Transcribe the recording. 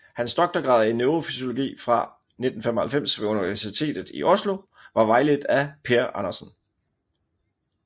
Hans doktorgrad i neurofysiologi fra 1995 ved Universitetet i Oslo var vejledt af Per Andersen